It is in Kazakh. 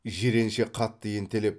жиренше қатты ентелеп